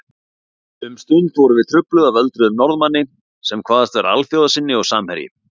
Um stund vorum við trufluð af öldruðum Norðmanni sem kvaðst vera alþjóðasinni og samherji